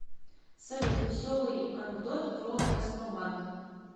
салют веселый анкдот про газпромбанк